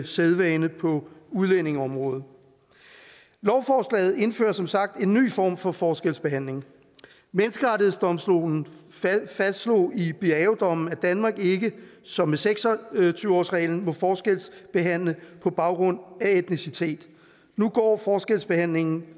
sædvane på udlændingeområdet lovforslaget indfører som sagt en ny form for forskelsbehandling menneskerettighedsdomstolen fastslog i biaodommen at danmark ikke som med seks og tyve årsreglen må forskelsbehandle på baggrund af etnicitet nu går forskelsbehandlingen